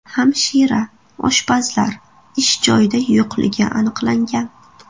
Hamshira, oshpazlar ish joyida yo‘qligi aniqlangan.